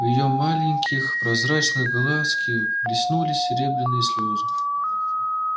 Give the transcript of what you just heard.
в её маленьких прозрачных глазки блеснули серебряные слезы